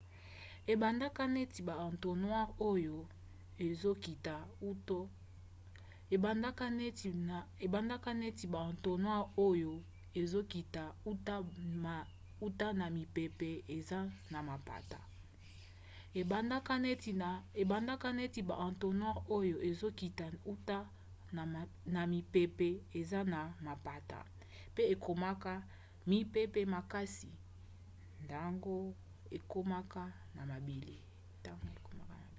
ebandaka neti ba entonnoirs oyo ezokita uta na mipepe eza na mapata pe ekomaka mipepe makasi ntango ekomaka na mabele